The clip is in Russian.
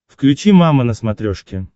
включи мама на смотрешке